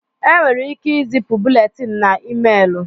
Enwere ike izipu búlétin na ịméélù